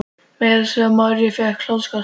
Meira að segja María fékk hláturskast.